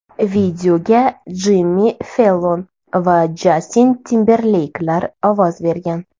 Videoga Jimmi Fellon va Jastin Timberleyklar ovoz bergan.